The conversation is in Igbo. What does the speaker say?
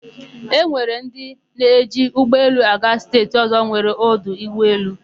E nwere ndị na-eji ụgbọelu aga steeti ọ̀zọ́ nwere ọdụ ụgbọelu.